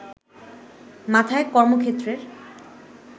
মাথায় কর্মক্ষেত্রের